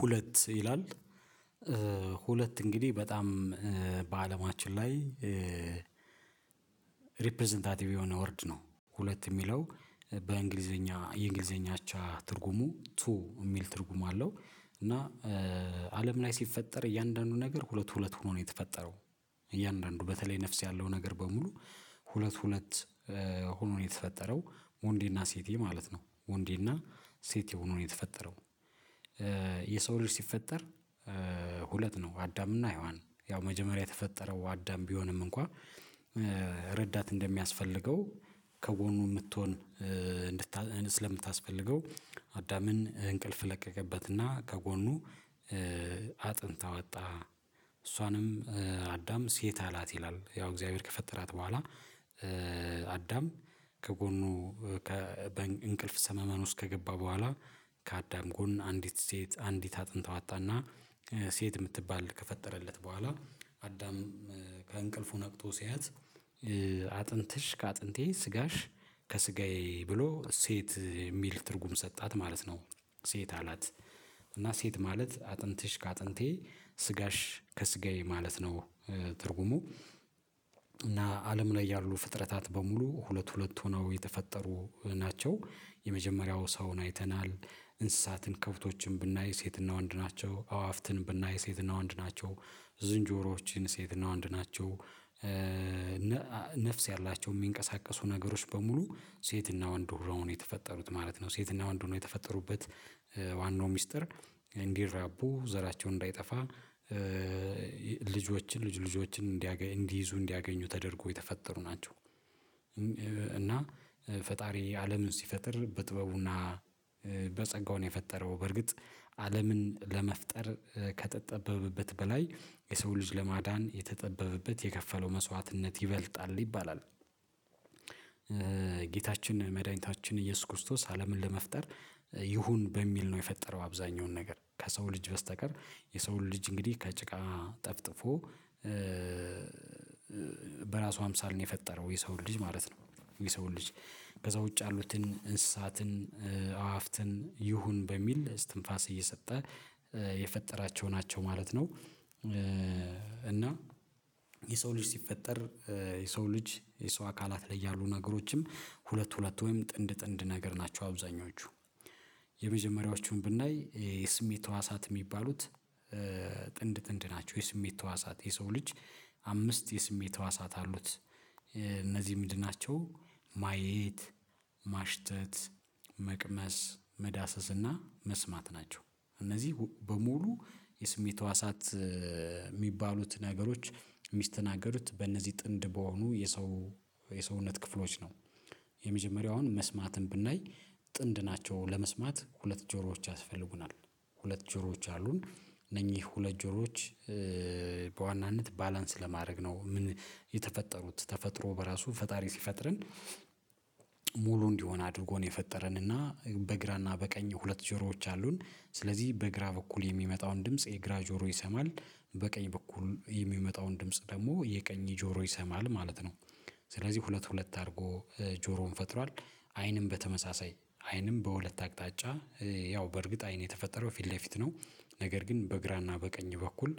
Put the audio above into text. ሁለት ይላል ሁለት እንግዲህ በጣም በአለማችን ላይ ሪፕረዘንታቲቭ የሆነ ወርድ ነው ሁለት የሚለው በእንግሊዘኛ የእንግሊዘኛ አቻ ትርጉሙ ቱ የሚል ትርጉም አለው። እና አለም ላይ ሲፈጠር እያንዳንዱ ነገር ሁለት ሁለት ሆኖ ነው የተፈጠረው እያንዳንዱ በተለይ ነፍስ ያለው ነገር በሙሉ ሁለት ሁለት ሆኖ የተፈጠረው ወንዴ እና ሴቴ ማለት ነው ወንዴ እና ሴቴ ሆኖ ነው የተፈጠረው። የሰው ልጅ ሲፈጠር ሁለት ነው አዳምና ሄዋን ያው መጀመሪያ የተፈጠረው አዳም ቢሆንም እንኳን ረዳት እንደሚያስፈልገው ከጎኑ የምትሆን እንድታስፈልገው አዳምን እንቅልፍ ለቀቀበትና ከጎኑ አጥንት አወጣ እሷንም አዳም ሴት አላት ይላል። ያው እግዚአብሔር ከፈጠራት በኋላ አዳም ከጎኑ በእንቅልፍ ሰመመን ውስጥ ከገባ በኋላ ከአዳም ጎን አንዲት ሴት አንዲት አጥንት አዋጣና ሴት የምትባል ከፈጠረለት በኋላ አዳም ከእንቅልፉ ነቅቶ ሲያያት አጥንትሽ ከአጥንቴ ስጋሽ ከስጋዬ ብሎ ሴት የሚል ትርጉም ሰጣት ማለት ነው። ሴት አላት እና ሴት ማለት አጥንትሽ ከአጥንቴ ስጋሽ ከስጋዬ ማለት ነው ትርጉሙ እና አለም ላይ ያሉ ፍጥረታት በሙሉ ሁለት ሁለት ሆነው የተፈጠሩ ናቸው። የመጀመሪያው ሰውን አይተናል እንስሳትን ከፍቶችን ብናይ ሴትና ወንድ ናቸው አዋፍትን ብናይ ሴትና ወንድ ናቸው ዝንጆሮዎችን ሴትና ወንድ ናቸው። ነፍስ ያላቸው የሚንቀሳቀሱ ነገሮች በሙሉ ሴትና ወንድ ሆነው ነው የተፈጠሩት ማለት ነው ሴትና ወንድ ሆኖ የተፈጠሩበት ዋናው ሚስጥር እንዲራቡ ዘራቸው እንዳይጠፋ ልጆችን ልጅ ልጆችን እንዲይዙ እንዲያገኙ ተደርጎ የተፈጠሩ ናቸው። እና ፈጣሪ አለምን ሲፈጥር በጥበቡና በጸጋው ነው የፈጠረው በርግጥ አለምን ለመፍጠር ከተጠበበበት በላይ የሰው ልጅ ለማዳን የተጠበበበት የከፈለው መስዋዕትነት ይበልጣል ይባላል። ጌታችን መድኃኒታችን ኢየሱስ ክርስቶስ አለምን ለመፍጠር ይሁን በሚል ነው የፈጠረው አብዛኛውን ነገር ከሰው ልጅ በስተቀር የሰው ልጅ እንግዲህ ከጭቃ ጠፍጥፎ በራሱ አምሳል ነው የፈጠረው የሰውን ልጅ ማለት ነው። የሰውን ልጅ ከዛ ውጭ ያሉትን እንስሳትን አዋፍትን ይሁን በሚል እስትንፋስ እየሰጠ የፈጠራቸው ናቸው ማለት ነው። እና የሰው ልጅ ሲፈጠር የሰው ልጅ የሰው አካላት ላይ ያሉ ነገሮችም ሁለት ሁለት ወይም ጥንድ ጥንድ ነገር ናቸው። አብዛኞቹ የመጀመሪያዎቹን ብናይ የስሜት ህዋሳት የሚባሉት ጥንድ ጥንድ ናቸው የስሜት ተዋሳት የሰው ልጅ አምስት የስሜት ተዋሳት አሉት እነዚህ ምድር ናቸው ማየት ማሽተት መቅመስ መዳሰስ እና መስማት ናቸው እነዚህ በሙሉ የስሜት ህዋሳት። የሚባሉትን ነገሮች ሚስቸናገዱት በእነዚህ ጥንድ በሆኑ የሰው የሰውነት ክፍሎች ነው የመጀመሪያውን መስማትን ብናይ ጥንድ ናቸው ለመስማት ሁለት ጆሮዎች ያስፈልጉናል ሁለት ጆሮዎች አሉን እነኚህ ሁለት ጆሮዎች በዋናነት ባላንስ ለማድረግ ነው የተፈጠሩት ተፈጥሮ በራሱ ፈጣሪ ሲፈጥርን ሙሉ እንዲሆን አድርጎ ነው የፈጠረን እና በግራና በቀኝ ሁለት ጀሮዎች አሉን ስለዚህ በግራ በኩል የሚመጣውን ድምጽ የግራ ጆሮ ይሰማል በቀኝ በኩል የሚመጣውን ድምጽ ደግሞ የቀኝ ጆሮ ይሰማል ማለት ነው። ስለዚህ ሁለት ሁለት አድርጎ ጆሮውን ፈጥሯል አይንም በተመሳሳይ አይንም በሁለት አቅጣጫ ያው በእርግጥ አይን የተፈጠረው ፊት ለፊት ነው ነገር ግን በግራና በቀኝ በኩል